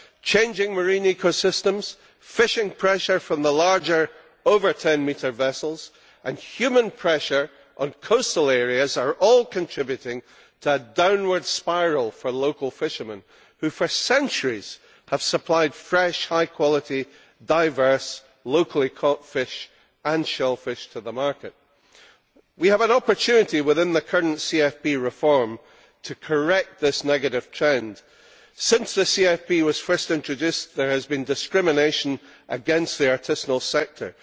Changing marine ecosystems, fishing pressure from the larger, over ten metre, vessels and human pressure on coastal areas are all contributing to a downward spiral for local fishermen, who for centuries have supplied fresh, high quality, diverse, locally caught fish and shellfish to the market. We have an opportunity within the current CFP reform to correct this negative trend. Ever since the CFP was first introduced, there has been discrimination against the artisanal sector.